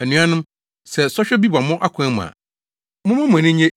Anuanom, sɛ sɔhwɛ bi ba mo akwan mu a, momma mo ani nnye